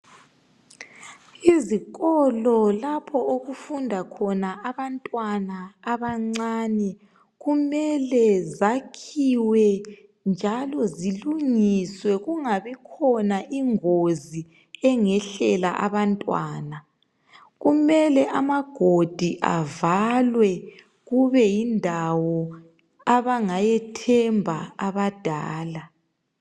Izikolo lapho okufunda khona abantwana abancani kumele zakhiwe njalo zilungiswe kungabikhona ingozi engehlela abantwana. Kumele amagodi avalwe kube yindawo abangayithemba abadala.